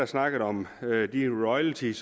snakket om de royalties